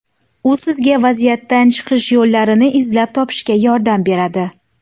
U sizga vaziyatdan chiqish yo‘llarini izlab topishga yordam beradi.